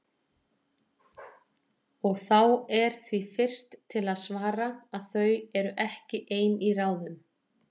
Og þá er því fyrst til að svara, að þau eru ekki ein í ráðum.